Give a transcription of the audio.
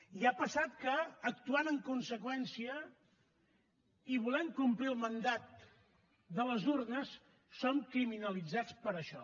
i ha passat que actuant en conseqüència i volent complir el mandat de les urnes som criminalitzats per això